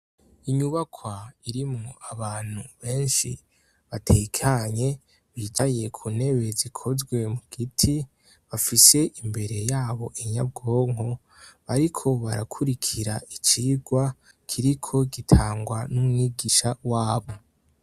Inyubakwa irimwo abantu benshi batekanye, bicaye ku ntebe zikozwe mu giti. Bafise imbere yabo inyabwonko, bariko barakurikira icigwa kiriko gitangwa n'umwigisha wabo.